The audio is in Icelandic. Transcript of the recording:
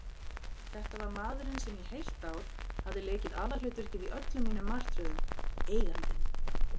Þetta var maðurinn sem í heilt ár hafði leikið aðalhlutverkið í öllum mínum martröðum: Eigandinn.